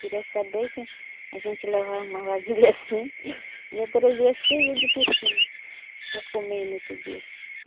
Queria saber que a gente levava uma vasilha assim e ia trazer cheia de peixinho para comer no outro dia.